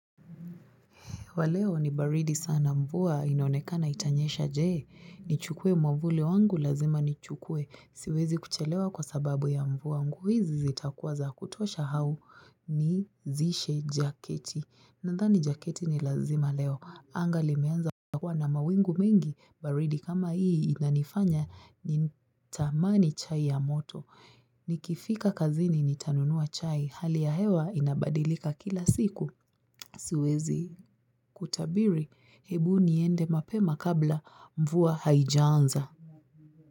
Wa leo ni baridi sana mvua inaonekana itanyesha je. Nichukue mwavuli wangu lazima nichukuwe. Siwezi kuchelewa kwa sababu ya mvua. Hizi zitakuwa za kutosha au nivishe jaketi. Nadhani jaketi ni lazima leo. Anga limeanza kuwa na mawingu mingi. Baridi kama hii inanifanya nitamani chai ya moto. Nikifika kazini nitanunua chai. Hali ya hewa inabadilika kila siku. Siwezi kutabiri, hebu niende mapema kabla mvua haijaanza.